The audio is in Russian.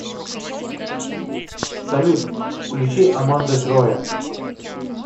салют включи аманда троя